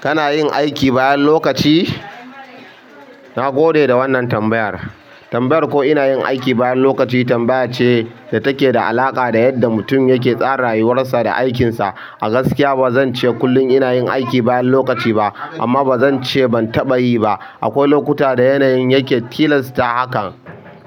Kana yin aiki bayan lokaci? Na gode da wannan tambayar. Tambayar ko ina yin aiki bayan lokaci tambaya ce da take da alaƙa da yadda mutum yake tsara rayuwarsa da aikinsa. A gaskiya ba zance kullum ina yin aiki bayan lokaci ba, amma ba zance ban taɓa yi ba akwai lokuta da yanayin yake tilasta hakan.